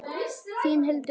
Þín, Hildur Anna.